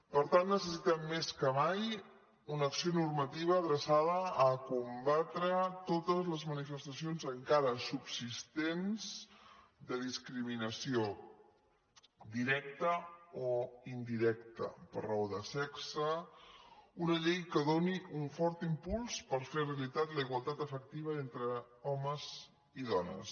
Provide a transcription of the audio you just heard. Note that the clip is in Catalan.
per tant necessitem més que mai una acció normativa adreçada a combatre totes les manifestacions encara subsistents de discriminació directa o indirecta per raó de sexe una llei que doni un fort impuls per fer realitat la igualtat efectiva entre homes i dones